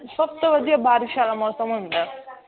ਸਭ ਤੋਂ ਵਧੀਆ ਬਾਰਿਸ਼ ਵਾਲਾ ਮੌਸਮ ਹੁੰਦਾ ਹੈ